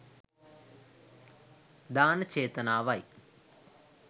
දාන චේතනාව යි.